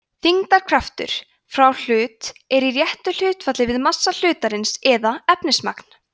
þyngdarkraftur frá hlut er í réttu hlutfalli við massa hlutarins eða efnismagn